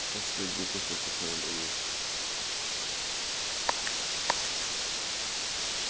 последний кусочек надо доесть